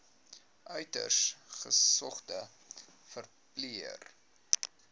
uiters gesogde verpleër